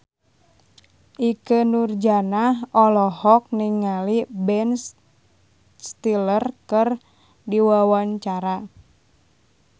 Ikke Nurjanah olohok ningali Ben Stiller keur diwawancara